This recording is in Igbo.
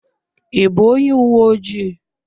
I bụ onye uwe ojii?